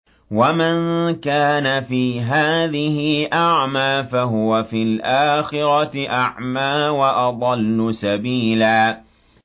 وَمَن كَانَ فِي هَٰذِهِ أَعْمَىٰ فَهُوَ فِي الْآخِرَةِ أَعْمَىٰ وَأَضَلُّ سَبِيلًا